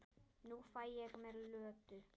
Nú fæ ég mér Lödu.